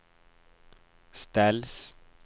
ställs